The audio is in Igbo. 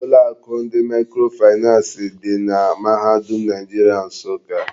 Ụlọ akụ ndị mikrofinans di na mahadum Naijiria Nsụka.